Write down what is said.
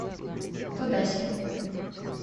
тодасе